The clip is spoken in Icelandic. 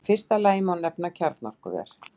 Í fyrsta lagi má nefna kjarnorkuver.